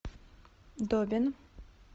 добин